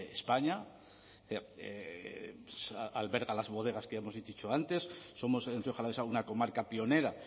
españa alberga las bodegas que ya hemos dicho antes somos en rioja alavesa una comarca pionera